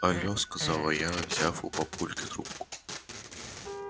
алё сказала я взяв у папульки трубку